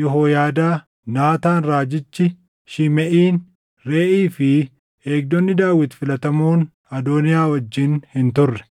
Yehooyaadaa, Naataan raajichi, Shimeʼiin, Reeʼii fi eegdonni Daawit filatamoon Adooniyaa wajjin hin turre.